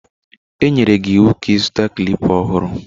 E nyere gị ịwụ ka ịzụta klịpa ọhụrụ.